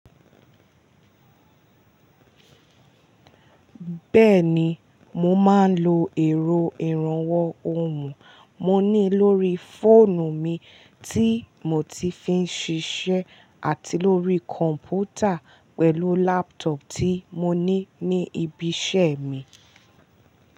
Bẹ́ẹ̀ni, mo máa ń lo ẹ̀rọ ìrànwọ́ ohùn mo ní lórí fóònù mi tí mo ti fi ń ṣiṣẹ́ àti lórí kọ̀m̀pútà pẹ̀lú laptop tí mo ní ní ibi iṣẹ́ mi.